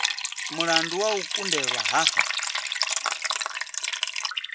mulandu wa u kundelwa ha